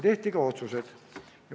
Tehti ka otsused.